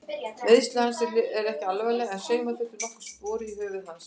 Meiðsli hans eru ekki alvarleg en sauma þurfti nokkur spor í höfuð hans.